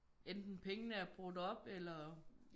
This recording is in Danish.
Enten pengene er brugt op eller